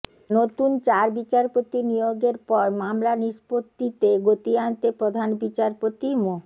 নতুন চার বিচারপতি নিয়োগের পর মামলা নিষ্পত্তিতে গতি আনতে প্রধান বিচারপতি মো